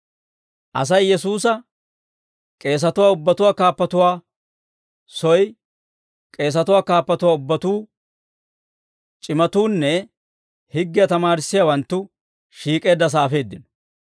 Asay Yesuusa k'eesatuwaa ubbatuwaa kaappuwaa soy, k'eesatuwaa kaappatuwaa ubbatuu, c'imatuunne higgiyaa tamaarissiyaawanttu shiik'eeddasaa afeeddino.